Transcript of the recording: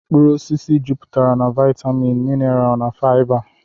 Mkpụrụ osisi juputere na vitaminu, minarl na fiba.